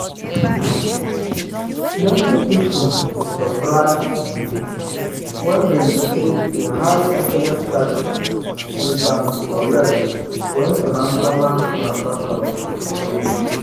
all the small-small fees wey our bank dey charge from overdraft protection plan dey add up quick quick.